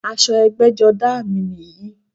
Aṣọ ẹgbẹ́jọdá à mi nìyí